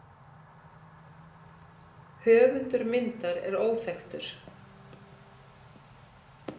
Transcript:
Höfundur myndar er óþekktur.